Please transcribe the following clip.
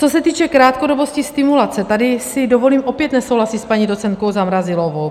Co se týče krátkodobosti stimulace, tady si dovolím opět nesouhlasit s paní docentkou Zamrazilovou.